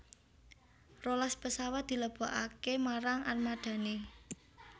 rolas pesawat dilebokaké marang armadané